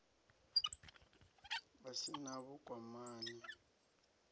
a si na vhukwamani na